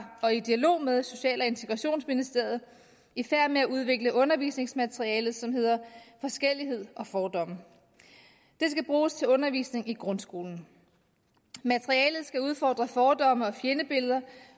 og i dialog med social og integrationsministeriet i færd med at udvikle et undervisningsmateriale som hedder forskellighed og fordomme det skal bruges til undervisning i grundskolen materialet skal udfordre fordomme og fjendebilleder